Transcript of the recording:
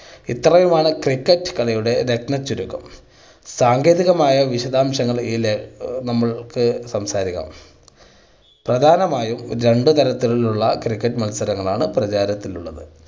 ഇത്രയുമാണ് cricket കളിയുടെ രത്ന ചുരുക്കം. സാങ്കേതികമായ വിശദാംശങ്ങൾ നമ്മൾക്ക് സംസാരിക്കാം. പ്രധാനമായും രണ്ട് തരത്തിലുള്ള cricket മത്സരങ്ങളാണ് പ്രചാരത്തിലുള്ളത്.